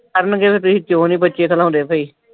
sir ਨੇ ਕਹਿਣਾ ਪ੍ਰੀਤ ਕਿਉਂ ਨਈਂ ਬੱਚੇ ਘਲਾਉਂਦੇ ਸਹੀ।